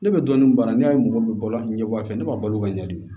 Ne bɛ dɔɔnin baara ne y'a ye mɔgɔw bɛ bɔ ɲɛbɔ a fɛ ne b'a balo ka ɲɛɲini